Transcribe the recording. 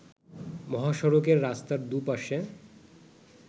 মহাসড়কের রাস্তার দু’পাশে